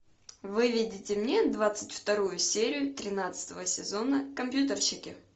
выведите мне двадцать вторую серию тринадцатого сезона компьютерщики